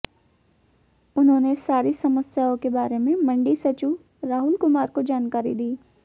उन्होंने सारी समस्याओं के बारे में मंडी सचिव राहुल कुमार को जानकारी दी